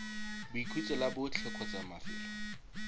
boikhutso la botlhe kgotsa mafelo